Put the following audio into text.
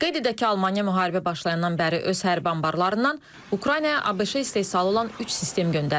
Qeyd edək ki, Almaniya müharibə başlayandan bəri öz hərbi anbarlarından Ukraynaya ABŞ istehsalı olan üç sistem göndərib.